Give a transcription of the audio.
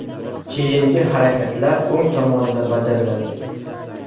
Keyingi harakatlar o‘ng tomonida bajariladi.